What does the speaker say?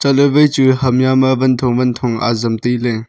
chatle wai chu ham ya ma wan thong wan thong ajam taile.